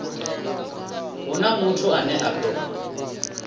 huna muthu ane a ḓo